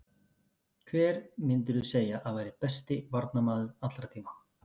Hver myndirðu segja að væri besti varnarmaður allra tíma?